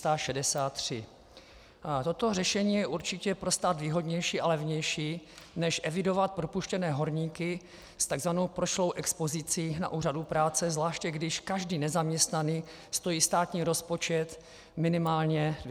Toto řešení je určitě pro stát výhodnější a levnější než evidovat propuštěné horníky s tzv. prošlou expozicí na úřadu práce, zvláště když každý nezaměstnaný stojí státní rozpočet minimálně 250 tis. Kč.